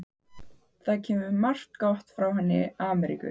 Það kemur margt gott frá henni Ameríku.